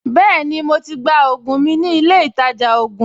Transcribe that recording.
Bẹ́ẹ̀ni, mo to gba ògùn mi nílé ìtajà ògùn